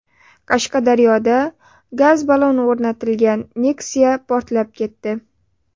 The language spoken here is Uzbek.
Qashqadaryoda gaz-ballon o‘rnatilgan Nexia portlab ketdi.